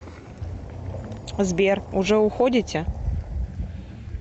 сбер уже уходите